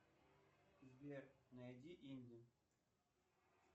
сбер найди инди